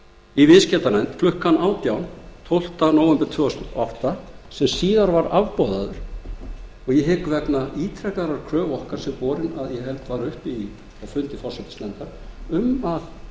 í viðskiptanefnd klukkan átján tólfti nóvember tvö þúsund og átta sem síðar var afboðaður og ég hygg vegna ítrekaðrar kröfu okkar sem borin var að ég held upp á fundi forsætisnefndar um að